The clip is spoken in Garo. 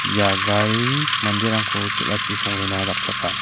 ia gari manderangko chel·achi songrena dakchaka.